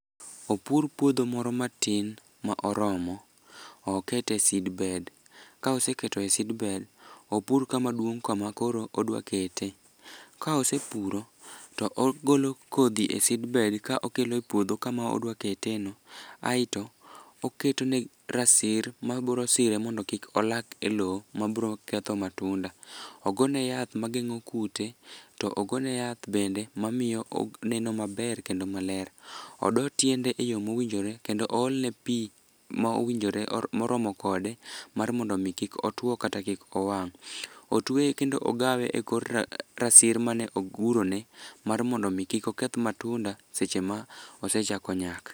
Opur puodho moro matin ma oromo, okete seedbed ka oseketoe seedbed, opur kamaduong' kama koro odwakete. Ka osepuro to ogolo kodhi e seedbed ka okelo e puodho kama odwaketeno aeto oketone rasir mabrosire mondo kik olak e lo mabroketho matunda. Ogone yath mageng'o kute to ogone yath bende mamiyo oneno maber kendo maler. Odo tiende e yo mowinjore kendo oolne pi ma owinjore moromo kode mar mondo omi kik otwo kata kik owang'. Otewye kendo ogawe e kor rasir ma me ogurone mar mondo omi kik oketh matunda seche ma oasechako nyak.